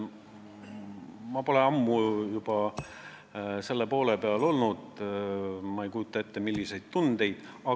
Ma ei tea, ma pole ammu selle poole peal olnud ega kujuta ette, milliseid tundeid see tekitab.